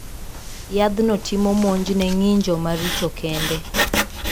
Yadhno timo monj ne ng`injo maricho kende.